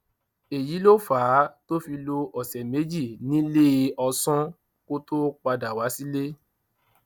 èyí ló fà á tó fi lo ọsẹ méjì níléeọsán kó tóó padà wá sí ilé